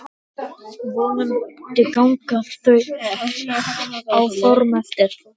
Vonandi ganga þau áform eftir.